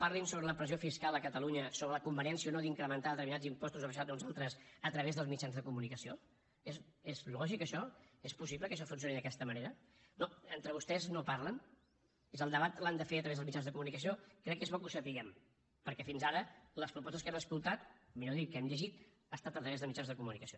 parlin sobre la pressió fiscal a catalunya sobre la conveniència o no d’incrementar determinats impostos o abaixar ne uns altres a través dels mitjans de comunicació és lògic això és possible que això funcioni d’aquesta manera no entre vostès no parlen el debat l’han de fer a través dels mitjans de comunicació crec que és bo que ho sapiguem perquè fins ara les propostes que hem escoltat millor dit que hem llegit han estat a través de mitjans de comunicació